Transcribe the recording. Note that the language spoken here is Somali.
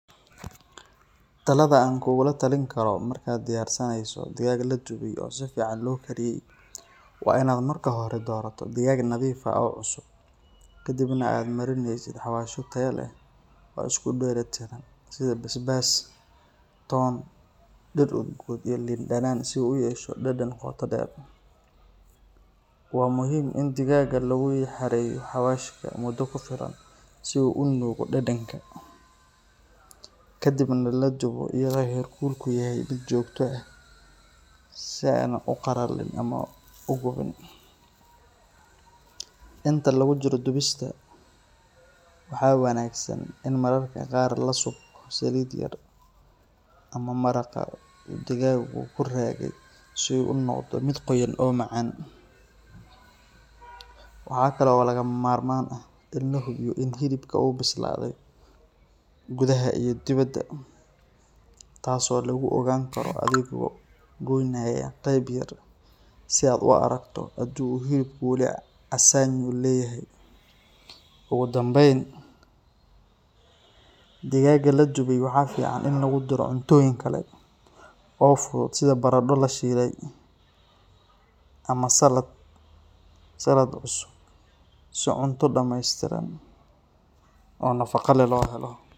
Talada aan kugula talin karo markaad diyaarinayso digaag la dubay oo si fiican loo kariyey waa in aad marka hore doorato digaag nadiif ah oo cusub, ka dibna aad marinaysid xawaashyo tayo leh oo isku dheelitiran sida basbaas, toon, dhir udgoon iyo liin dhanaan si uu u yeesho dhadhan qoto dheer. Waa muhiim in digaagga lagu xareeyo xawaashka muddo ku filan si uu u nuugo dhadhanka, ka dibna la dubo iyadoo heerkulku yahay mid joogto ah si aanay u qalalin ama u gubin. Inta lagu jiro dubista, waxaa wanaagsan in mararka qaar la subko saliid yar ama maraqa uu digaaggu ku raagay si uu u noqdo mid qoyan oo macaan. Waxaa kale oo lagama maarmaan ah in la hubiyo in hilibka uu bislaaday gudaha iyo dibadda, taas oo lagu ogaan karo adigoo goynaya qayb yar si aad u aragto haddii uu hilibku weli casaanyo leeyahay. Ugu dambayn, digaagga la dubay waxaa fiican in lagu daro cuntooyin kale oo fudud sida baradho la shiilay ama salad cusub si cunto dhammaystiran oo nafaqo leh loo helo.